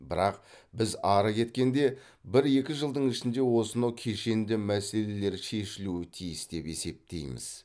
бірақ біз ары кеткенде бір екі жылдың ішінде осынау кешенді мәселелер шешілуі тиіс деп есептейміз